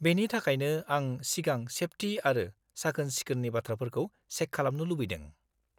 -बेनि थाखायनो आं सिगां सेफटि आरो साखोन-सोखोननि बाथ्राफोरखौ चेक खालामनो लुबैदों।